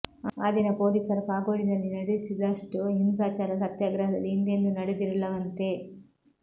ಆ ದಿನ ಪೋಲಿಸರು ಕಾಗೋಡಿನಲ್ಲಿ ನಡೆಸಿದಷ್ಟು ಹಿಂಸಾಚಾರ ಸತ್ಯಾಗ್ರಹದಲ್ಲಿ ಹಿಂದೆಂದೂ ನಡೆದಿರಲಿಲ್ಲವಂತೆ